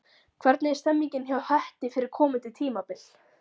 Hvernig er stemningin hjá Hetti fyrir komandi tímabil?